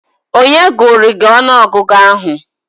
Onye gụụrụ gị ọnụọgụgụ ahụ?